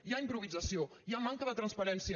hi ha im·provisació hi ha manca de transparència